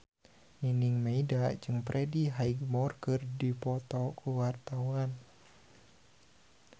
Nining Meida jeung Freddie Highmore keur dipoto ku wartawan